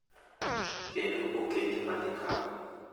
Kendo okenge ma gikawo .